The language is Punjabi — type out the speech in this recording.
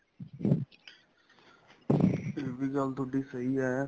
ਇਹ ਵੀ ਗੱਲ ਤੁਹਾਡੀ ਸਹੀਂ ਏ